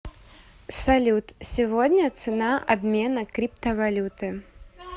салют сегодня цена обмена криптовалюты